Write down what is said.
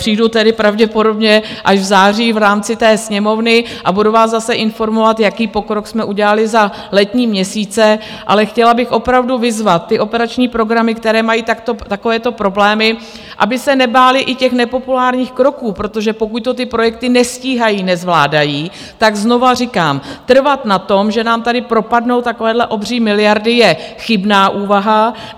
Přijdu tedy pravděpodobně až v září v rámci té Sněmovny a budu vás zase informovat, jaký pokrok jsme udělali za letní měsíce, ale chtěla bych opravdu vyzvat ty operační programy, které mají takovéto problémy, aby se nebály i těch nepopulárních kroků, protože pokud to ty projekty nestíhají, nezvládají, tak znova říkám, trvat na tom, že nám tady propadnou takové obří miliardy, je chybná úvaha.